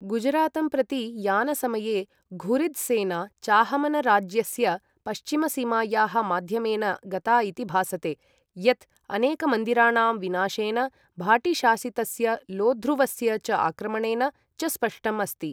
गुजरातं प्रति यानसमये, घुरिद् सेना चाहमनराज्यस्य पश्चिमसीमायाः माध्यमेन गता इति भासते, यत् अनेकमन्दिराणां विनाशेन, भाटीशासितस्य लोध्रुवस्य च आक्रमणेन च स्पष्टम् अस्ति।